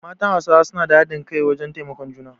Matan Hausawa su na da hadin kai wajen taimakon juna